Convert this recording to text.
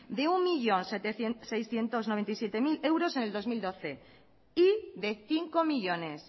de un millón seiscientos noventa y siete mil euros en el dos mil doce y de cinco millónes